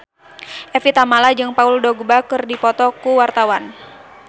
Evie Tamala jeung Paul Dogba keur dipoto ku wartawan